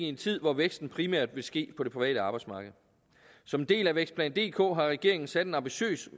en tid hvor væksten primært vil ske på det private arbejdsmarked som en del af vækstplan dk har regeringen sat en ambitiøs